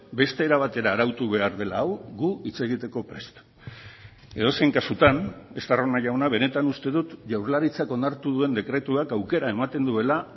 beste era batera arautu behar dela hau gu hitz egiteko prest edozein kasutan estarrona jauna benetan uste dut jaurlaritzak onartu duen dekretuak aukera ematen duela